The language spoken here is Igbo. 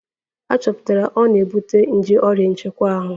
A chọpụtara na ọ na-ebute nje oria nchekwa ahu